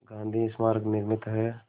गांधी स्मारक निर्मित है